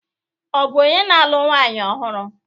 Ọ bụ onye na-alụ nwanyị ọhụrụ?